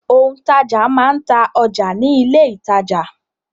Òǹtajà máa n ta ọjà ní ilé-ìtàjà.